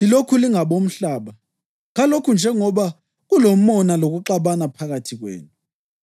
Lilokhu lingabomhlaba. Kalokho njengoba kulomona lokuxabana phakathi kwenu,